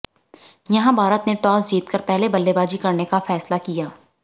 यहां भारत ने टॉस जीतकर पहले बल्लेबाजी करने का फैसला किया